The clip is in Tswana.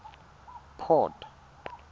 port